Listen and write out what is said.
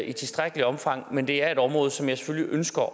i tilstrækkeligt omfang men det er et område som jeg selvfølgelig ønsker